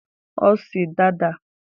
Ọ sị Dada!